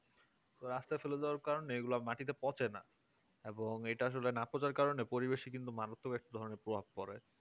রাস্তায় ফেলে দেওয়ার কারণে এগুলো মাটিতে পচেনা না এবং এটা আসলে না পচার কারণে পরিবেশে কিন্তু মনত এক ধরনের প্রভাব পড়ে